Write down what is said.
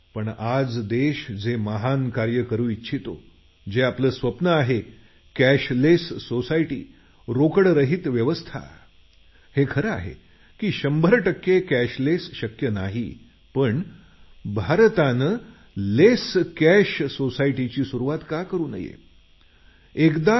परंतु आज देश जे महान कार्य करू इच्छितो जे आपलं स्वप्न आहे कॅशलेस सोसायटी हे खरं आहे की 100 टक्के आपण यशस्वी होणार नाही पण सुरुवातच केली नाही असं नको